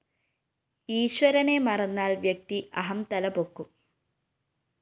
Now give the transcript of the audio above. ഈശ്വരനെ മറന്നാല്‍ വ്യക്തി അഹം തലപൊക്കും